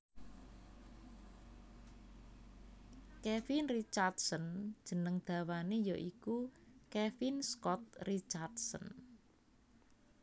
Kevin Richardson jeneng dawané ya iku Kevin Scott Richardson